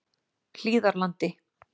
Hlíðarlandi